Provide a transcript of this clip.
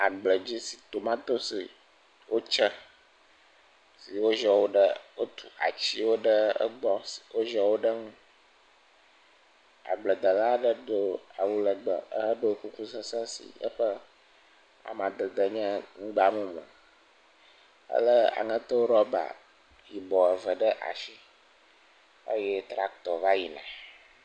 Agbledzi si tomatosiwo tsɛ, si woziɔ wo ɖe, wotsu atsiwo ɖe egbɔ, woziɔ wo ɖe eŋu. Agbledela aɖe do awu lɛgbɛ ehedo kuku sesẽ si eƒe amadede nye ŋugbamumu. Elé aŋɛto rɔɔba yibɔɔ ve ɖe ashi eye trakitɔ va yina.